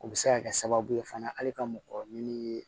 O bɛ se ka kɛ sababu ye fana hali ka mɔgɔ ɲini